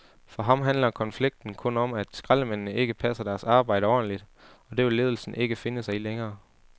For ham handler konflikten kun om, at skraldemændene ikke passer deres arbejde ordentligt, og det vil ledelsen ikke finde sig i længere.